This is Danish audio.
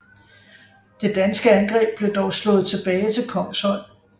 Det danske angreb blev dog slået tilbage til Kongshøj